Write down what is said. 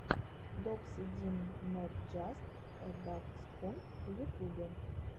докси дин нот джаст э даксхунд в ютубе